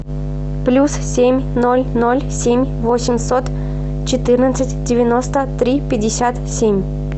плюс семь ноль ноль семь восемьсот четырнадцать девяносто три пятьдесят семь